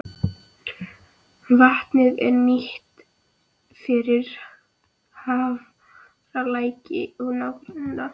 Vatnið er nýtt fyrir Hafralæk og nágrenni.